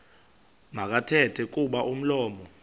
makathethe kuba umlomo